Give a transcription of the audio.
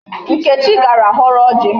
Nkechi gara họrọ ọjị.